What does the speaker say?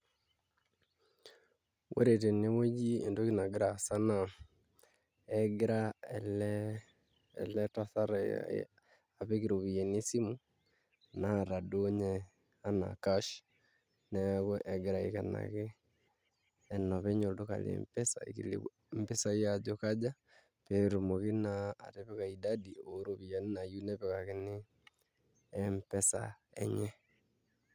Ore tenewueji entoki nagira aasa naa egira ele tasat apik iropiyiani esimu naata duo ninye enaa cash neeku egira aikenaki enopeny olduka le M-pesa aikilikuan mpisaai ajo kaja pee etumoki naa atipika idadi orpiyiani naayieu nepikakini M-pesa enye.